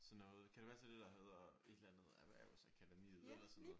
Sådan noget kan det passe det er det der hedder et eller andet erhvervsakademiet eller sådan noget?